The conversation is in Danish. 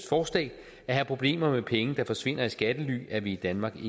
forslag at have problemer med penge der forsvinder i skattely er vi i danmark